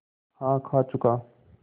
हाँ खा चुका